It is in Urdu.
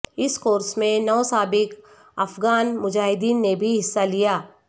اس کورس میں نو سابق افغان مجاہدین نے بھی حصہ لیا